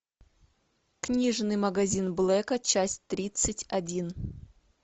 книжный магазин блэка часть тридцать один